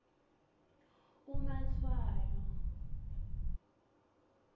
umatshwayo